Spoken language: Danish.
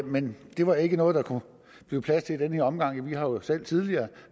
men det var ikke noget der kunne blive plads til i den her omgang vi har jo selv tidligere